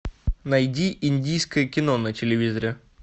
найди индийское кино на телевизоре